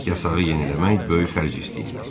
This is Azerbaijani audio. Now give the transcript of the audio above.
Yarak yasağı yeniləmək böyük xərc istəyirdi.